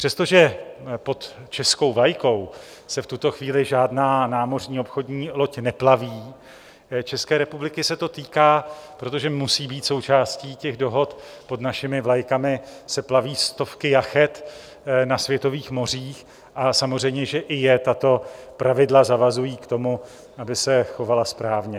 Přestože pod českou vlajkou se v tuto chvíli žádná námořní obchodní loď neplaví, České republiky se to týká, protože musí být součástí těch dohod, pod našimi vlajkami se plaví stovky jachet na světových mořích a samozřejmě že i je tato pravidla zavazují k tomu, aby se chovala správně.